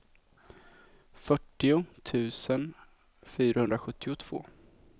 fyrtio tusen fyrahundrasjuttiotvå